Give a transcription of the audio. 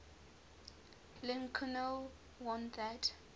lincoln warned that